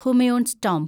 Humayun's tomb